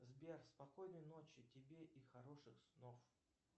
сбер спокойной ночи тебе и хороших снов